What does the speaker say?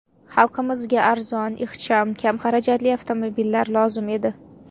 Xalqimizga arzon, ixcham, kam xarajatli avtomobillar lozim edi.